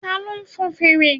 Ta ló fon fèrè?